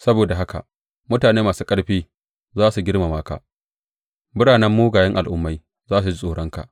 Saboda haka mutane masu ƙarfi za su girmama ka; biranen mugayen al’ummai za su ji tsoronka.